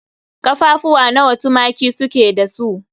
Ƙaffafuwa nawa tumaki su ke da su?